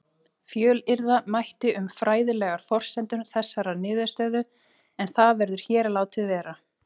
Fjölyrða mætti um fræðilegar forsendur þessarar niðurstöðu en það verður hér látið vera.